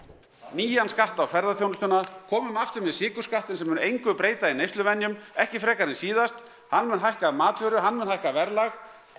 nýjan skatt á ferðaþjónustuna komum aftur með sykurskattinn sem mun engu breyta í neysluvenjum ekki frekar en síðast hann mun hækka matvöru hann mun hækka verðlag